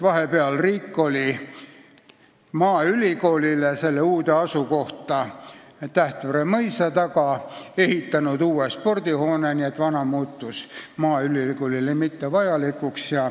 Vahepeal riik oli maaülikoolile selle uude asukohta Tähtvere mõisa taga ehitanud uue spordihoone, nii et vana muutus maaülikoolile mittevajalikuks.